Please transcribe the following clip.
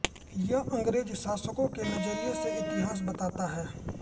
यह अंग्रेज़ शासकों के नज़रिए से इतिहास बताता है